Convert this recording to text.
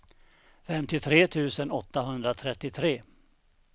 femtiotre tusen åttahundratrettiotre